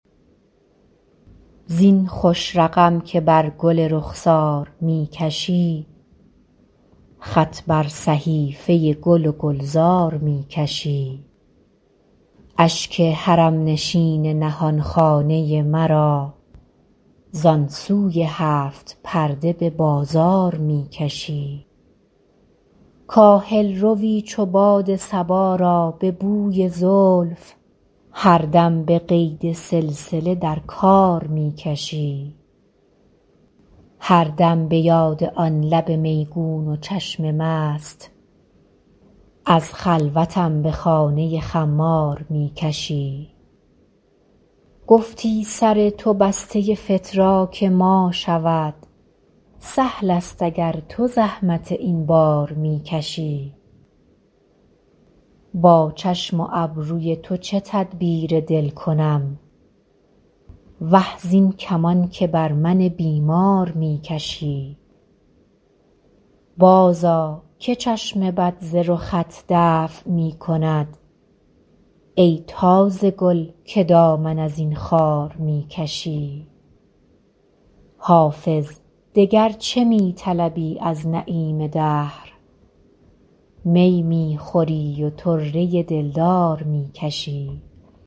زین خوش رقم که بر گل رخسار می کشی خط بر صحیفه گل و گلزار می کشی اشک حرم نشین نهان خانه مرا زان سوی هفت پرده به بازار می کشی کاهل روی چو باد صبا را به بوی زلف هر دم به قید سلسله در کار می کشی هر دم به یاد آن لب میگون و چشم مست از خلوتم به خانه خمار می کشی گفتی سر تو بسته فتراک ما شود سهل است اگر تو زحمت این بار می کشی با چشم و ابروی تو چه تدبیر دل کنم وه زین کمان که بر من بیمار می کشی بازآ که چشم بد ز رخت دفع می کند ای تازه گل که دامن از این خار می کشی حافظ دگر چه می طلبی از نعیم دهر می می خوری و طره دلدار می کشی